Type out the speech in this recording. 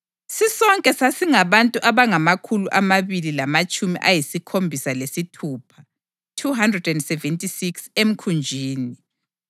Sisonke sasingabantu abangamakhulu amabili lamatshumi ayisikhombisa lesithupha (276) emkhunjini.